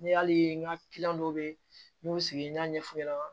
N'i y'a ye n ka dɔw be ye n'u y'u sigi n y'a ɲɛf'u ɲɛna